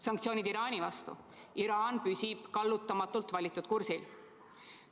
Sanktsioonid Iraani vastu – Iraan püsib kallutamatult valitud kursil.